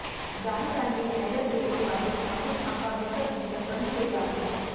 ग्राहकांनी viral video पाहून हापूस आंबा विकत घेणं कमी केलं आहे